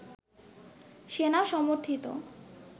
সেনা-সমর্থিত